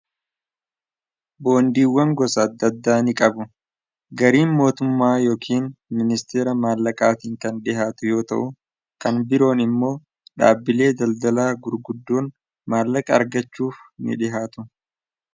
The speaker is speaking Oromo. Boondiiwwan gosa adda addaa ni qabu. Gariin mootummaa yookiin ministeera maallaqaatiin kan dhihaatu yoo ta'u kan biroon immoo dhaabbilee daldalaa gurguddoon maallaqa argachuuf ni dhihaatu.